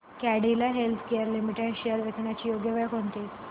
Cadila healthcare limited shares विकण्याची योग्य वेळ कोणती